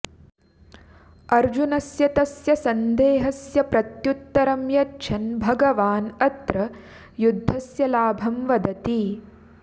अर्जुनस्य तस्य सन्देहस्य प्रत्युत्तरं यच्छन् भगवान् अत्र युद्धस्य लाभं वदति